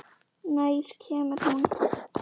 Nær kemur hún?